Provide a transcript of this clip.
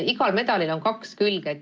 Igal medalil on kaks külge.